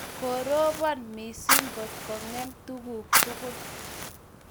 Koropon missing' ngot kong'em tuguk tugul.